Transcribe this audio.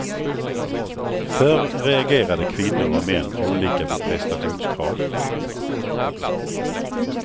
Förr reagerade kvinnor och män olika på prestationskrav.